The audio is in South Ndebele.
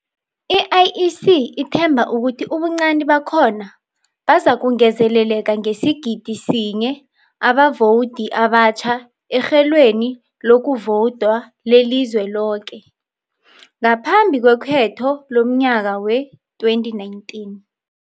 I-IEC ithemba ukuthi ubuncani bakhona bazakungezeleleka ngesigidi sinye abavowudi abatjha erhelweni lokuvowuda lelizwe loke, ngaphambi kwekhetho lomnyaka we-2019.